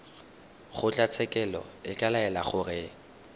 kgotlatshekelo e ka laela gore